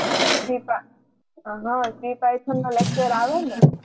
હાં C paython નો lecture આવે ને.